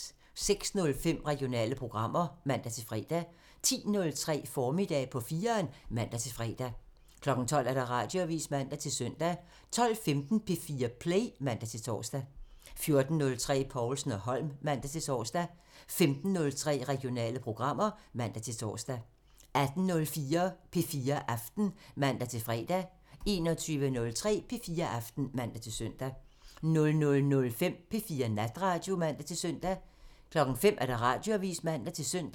06:05: Regionale programmer (man-fre) 10:03: Formiddag på 4'eren (man-fre) 12:00: Radioavisen (man-søn) 12:15: P4 Play (man-tor) 14:03: Povlsen & Holm (man-tor) 15:03: Regionale programmer (man-tor) 18:05: P4 Aften (man-fre) 21:03: P4 Aften (man-søn) 00:05: P4 Natradio (man-søn) 05:00: Radioavisen (man-søn)